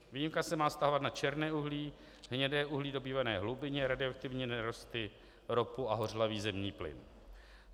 Výjimka se má vztahovat na černé uhlí, hnědé uhlí dobývané hlubinně, radioaktivní nerosty, ropu a hořlavý zemní plyn.